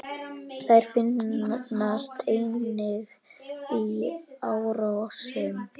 Þær finnast einnig í árósum.